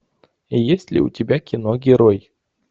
есть ли у тебя кино герой